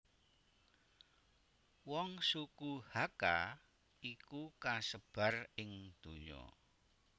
Wong suku Hakka iku kasebar ing ndonya